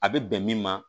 A bɛ bɛn min ma